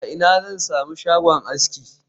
A ina zan sami shagon aski